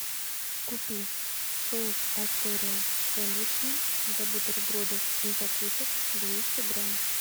купи соус астория сэндвичный для бутербродов и закусок двести грамм